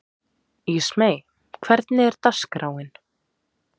Ísmey, hvernig er dagskráin?